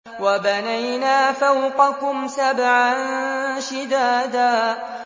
وَبَنَيْنَا فَوْقَكُمْ سَبْعًا شِدَادًا